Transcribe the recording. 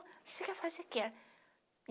você quer fazer o que?